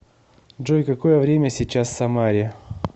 джой какое время сейчас в самаре